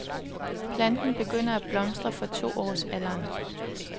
Planten begynder at blomstre fra to års alderen.